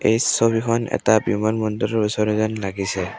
এই ছবিখন এটা বিমান বন্দৰৰ ওচৰৰ যেন লাগিছে।